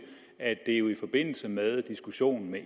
at det jo i forbindelse med diskussionen med